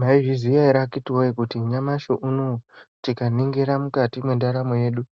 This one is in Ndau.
Maizviziya ere akhiti woye kuti nyamashi unowu tikaningira mukati mwendaramo yedu